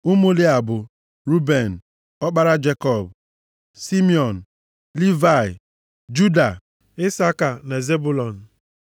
Ụmụ Lịa bụ, Ruben, ọkpara Jekọb. Simiọn, Livayị, Juda, Isaka na Zebụlọn.